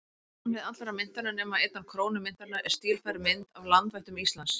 Á framhlið allra myntanna, nema einnar krónu myntarinnar, er stílfærð mynd af landvættum Íslands.